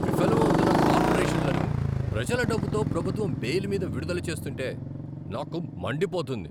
విఫలమౌతున్న కార్పొరేషన్లను ప్రజల డబ్బుతో ప్రభుత్వం బెయిల్ మీద విడుదల చేస్తుంటే నాకు మండిపోతుంది.